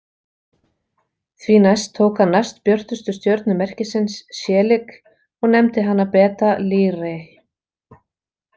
Því næst tók hann næstbjörtustu stjörnu merkisins, Shelik, og nefndi hana Beta Lyrae.